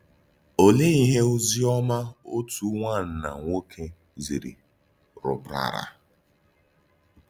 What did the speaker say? Òlee íhè òzì òma òtù nwánnà nwòké zìrì rùpràrà?